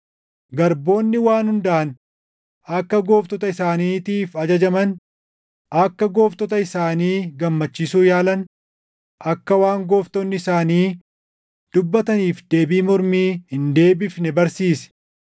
Garboonni waan hundaan akka gooftota isaaniitiif ajajaman, akka gooftota isaanii gammachiisuu yaalan, akka waan gooftonni isaanii dubbataniif deebii mormii hin deebifne barsiisi;